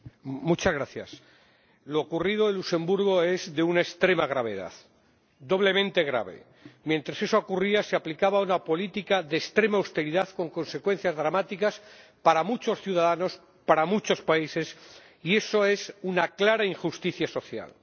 Señora Presidenta, lo ocurrido en Luxemburgo es de una extrema gravedad, doblemente grave. Mientras eso ocurría, se aplicaba una política de extrema austeridad, con consecuencias dramáticas para muchos ciudadanos, para muchos países, y eso es una clara injusticia social.